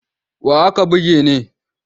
Wa aka buge ne?